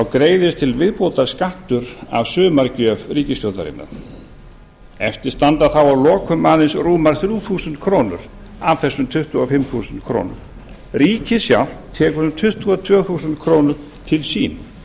greiðist til viðbótar skattur af sumargjöf ríkisstjórnarinnar eftir standa þá að lokum aðeins rúmar þrjú þúsund krónur af þessum tuttugu og fimm þúsund krónur ríkið sjálft tekur um tuttugu og tvö þúsund krónur til sín